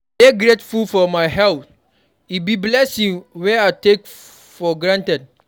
I dey grateful for my health; e be blessing wey I no take for granted.